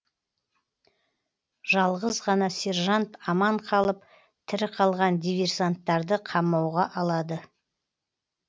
жалғыз ғана сержант аман қалып тірі қалған диверсанттарды қамауға алады